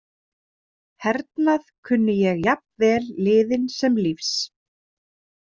Hernað kunni ég jafn vel liðinn sem lífs.